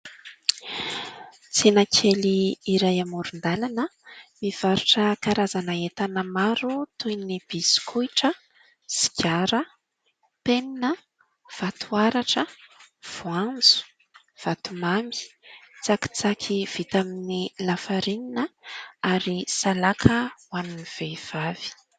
Tsena kely iray amoron-dalana mivarotra karazana entana maro toy ny bisikitra, karazana penina, vato haratra, voanjo vatomamy, tsakitsaky vita amin'ny lafarinina ary salaka ho an'ny vehivavy.